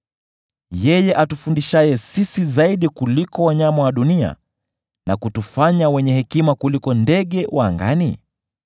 yeye atufundishaye sisi zaidi kuliko wanyama wa dunia, na kutufanya wenye hekima kuliko ndege wa angani?’